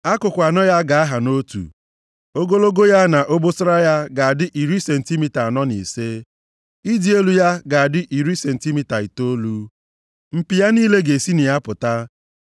Akụkụ anọ ya ga-aha nʼotu. Ogologo ya na obosara ya ga-adị iri sentimita anọ na ise. Ịdị elu ya ga-adị iri sentimita itoolu. Mpi ya niile ga-esi na ya pụta.